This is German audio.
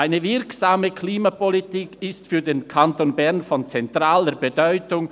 Eine wirksame Klimapolitik ist für den Kanton Bern von zentraler Bedeutung.